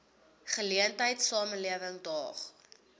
geleentheid samelewing daag